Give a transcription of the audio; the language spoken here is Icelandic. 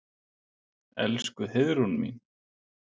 Elsku Heiðrún mín.